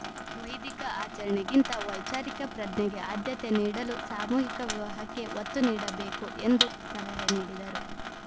ವೈದಿಕ ಆಚರಣೆಗಿಂತ ವೈಚಾರಿಕ ಪ್ರಜ್ಞೆಗೆ ಆದ್ಯತೆ ನೀಡಲು ಸಾಮೂಹಿಕ ವಿವಾಹಕ್ಕೆ ಒತ್ತು ನೀಡಬೇಕು ಎಂದು ಸಲಹೆ ನೀಡಿದರು